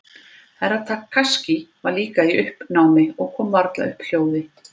Herra Takashi var líka í uppnámi og kom varla upp hljóði.